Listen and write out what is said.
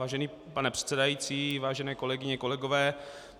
Vážený pane předsedající, vážené kolegyně, kolegové.